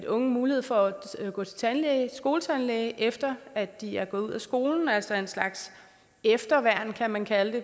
unge mulighed for at gå til skoletandlæge efter at de er gået ud af skolen altså en slags efterværn kan man kalde det